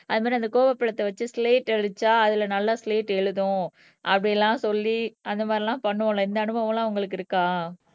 அது மாதிரி அந்த கோவப்பழத்தை வச்சு சிலைட் அடிச்சா அதுல நல்லா சிலேட்டு எழுதும் அப்படியெல்லாம் சொல்லி அந்த மாதிரிலாம் பண்ணுவோம்ல இந்த அனுபவம்லாம் உங்களுக்கு இருக்கா